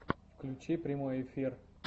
включи прямой эфир